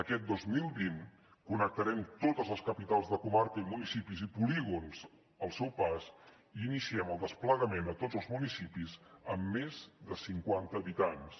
aquest dos mil vint connectarem totes les capitals de comarca i municipis i polígons al seu pas i iniciem el desplegament a tots els municipis amb més de cinquanta habitants